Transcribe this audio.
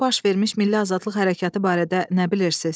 Orda baş vermiş milli azadlıq hərəkatı barədə nə bilirsiz?